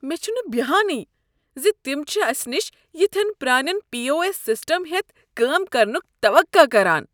مےٚ چھنہٕ بیہانٕے ز تم چھ اسہ نش یتھین پرٛانین پی او ایس سسٹم ہیتھ کٲم کرنک توقع کران۔